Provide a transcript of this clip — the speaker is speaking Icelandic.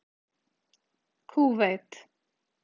Kúveit